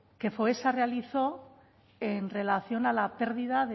que foessa realizó en relación a la pérdida